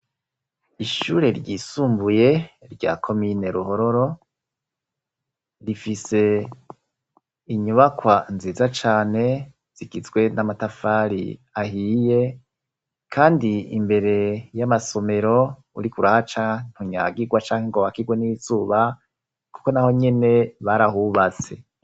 Ishure ryisumbuye rya komine Ruhororo rifise inyubakwa nziza cane zigizwe n'amatafari ahiye, kandi imbere y'amasomero uriko urahaca ntunyagigwa canke ngo bakirwe n'izuba kuko naho nyene barahubatse.